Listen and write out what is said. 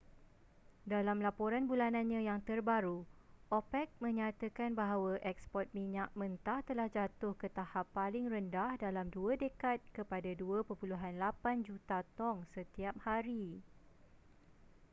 dalam laporan bulanannya yang terbaru opec menyatakan bahawa eksport minyak mentah telah jatuh ke tahap paling rendah dalam dua dekad kepada 2.8 juta tong setiap hari